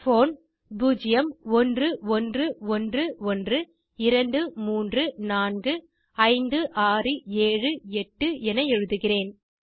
phone 011112345678 என எழுதுகிறேன்